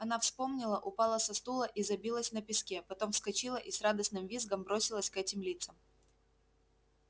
она вспомнила упала со стула и забилась на песке потом вскочила и с радостным визгом бросилась к этим лицам